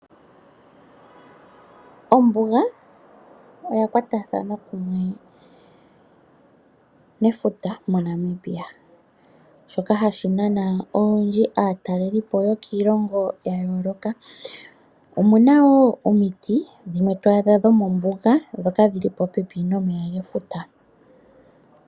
Ombuga oya kwatathana kumwe nefuta moNamibia, shoka hashi nana olundji aatalelipo yokiilongo ya yooloka. Omu na wo omiti dhimwe to adha mombuga, dhoka dhi li popepi nomeya gefuta.